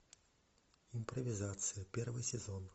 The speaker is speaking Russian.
импровизация первый сезон